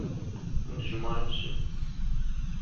джуманджи